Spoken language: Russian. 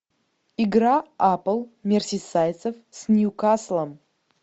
игра апл мерсисайдцев с ньюкаслом